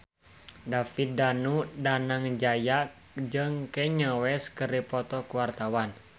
David Danu Danangjaya jeung Kanye West keur dipoto ku wartawan